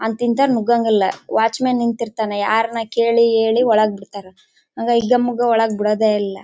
ಅಂತ್ ಇಂತವರು ನೊಗಂಗ್ಗೆ ಇಲ್ಲ ವಾಚ್ಮೆನ್ ನೀತ್ ಇರ್ತಿತ್ತನೆ ಯಾರ್ನ ಕೇಳಿ ಹೇಳಿ ಒಳಗ ಬಿಡ್ತಾನಾ ಹಂಗ ಹಿಗ್ಗಾ ಮುಗ್ಗ ಒಳಗೆ ಬಿಡೋದೇ ಇಲ್ಲ.